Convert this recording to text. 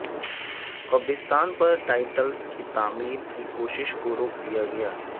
قبرستان پر ٹائلٹس کی تعمیر کی کوشش کو روک دیا گیا